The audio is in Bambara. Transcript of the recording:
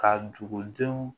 Ka dugudenw